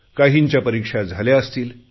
काहींच्या परीक्षा झाल्या असतील